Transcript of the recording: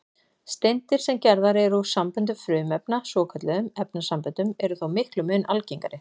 Steindir, sem gerðar eru úr samböndum frumefna, svokölluðum efnasamböndum, eru þó miklum mun algengari.